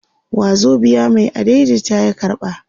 wazobiya Mai adaidaita ya karba